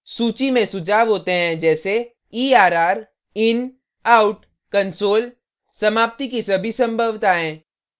सूची में सुझाव होते हैं जैसे err in out console समाप्ति की सभी संभवताएँ